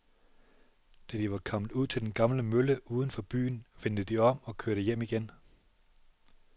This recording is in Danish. Da de var kommet ud til den gamle mølle uden for byen, vendte de om og kørte hjem igen.